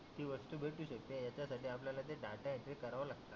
ती वस्तु भेटू शकते याच्या साठी आपल्याला ते डेटा एंट्री कारव लागत